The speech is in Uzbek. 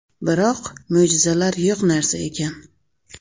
Biroq, mo‘jizalar yo‘q narsa ekan.